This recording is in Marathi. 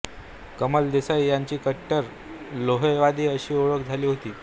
कमल देसाई यांची कट्टर लोहियावादी अशी ओळख झाली होती